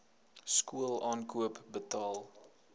skool aankoop betaal